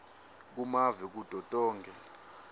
kumave kuto tonkhe